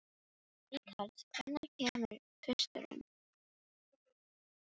Ríkharð, hvenær kemur tvisturinn?